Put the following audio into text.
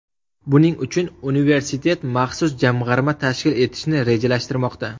Buning uchun universitet maxsus jamg‘arma tashkil etishni rejalashtirmoqda.